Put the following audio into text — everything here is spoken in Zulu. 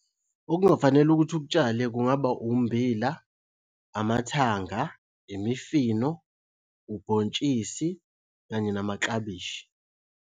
Okungafanele ukuthi ukutshale, kungaba ummbila, amathanga, imifino, ubhontshisi, kanye namaklabishi.